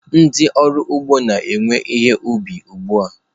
Ndị ọrụ ugbo na-ewe ihe ubi ugbu a.